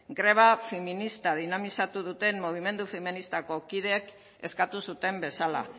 greba feminista dinamizatu duten mobimendu feministako kideek eskatu zuten bezala